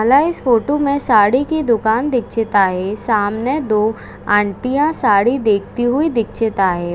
माला इस फोटो मे साड़ी की दुकान दीक्षिता आहे सामने दो आंटीया साड़ी देखती हुई दीक्षिता आहे.